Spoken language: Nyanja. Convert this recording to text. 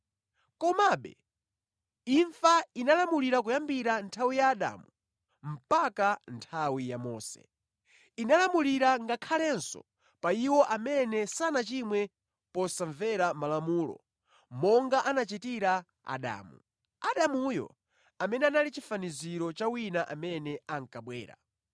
Komabe, imfa inalamulira kuyambira nthawi ya Adamu mpaka nthawi ya Mose. Inalamulira ngakhalenso pa iwo amene sanachimwe posamvera Malamulo monga anachitira Adamu. Adamuyo amene anali chifaniziro cha wina amene ankabwera.